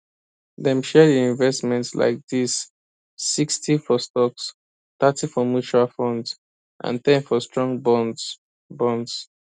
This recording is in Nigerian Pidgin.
dem share the investment like this 60 for stocks thirty for mutual funds and ten for strong bonds bonds